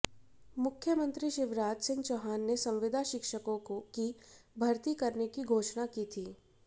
मुख्यमंत्री शिवराज सिंह चौहान ने संविदा शिक्षकों की भर्ती करने की घोषणा की थी